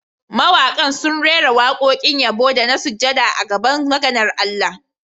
Mawaƙa sun rera waƙoƙin yabo da na sujada a gaban maganar Allah